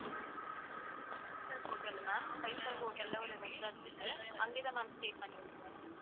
five star hotel ma'am, five star hotel ல ஒரு resort இருக்கு. அங்கதான் ma'am stay பண்ணி இருக்கோம்.